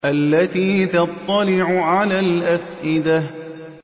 الَّتِي تَطَّلِعُ عَلَى الْأَفْئِدَةِ